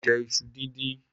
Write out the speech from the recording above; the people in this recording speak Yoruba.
mọ jẹ isú díndín